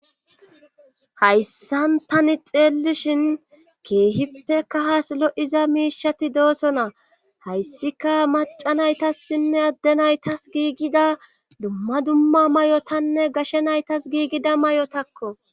Hayssan tani xeellishin keehippeka haslo'iza miishati dooso na hayssika maca naytassinne adde naytas giigida dumma dumma may'otanne gashe naytas giigida may'otakko